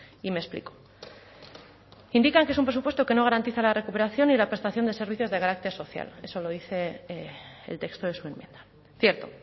y me explico indican que es un presupuesto que no garantiza la recuperación y la prestación de servicios de carácter social eso lo dice el texto de su enmienda cierto